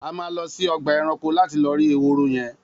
A má lõsí õgbá èrankó lati lõ rí èhóró yen